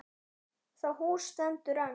Það hús stendur enn.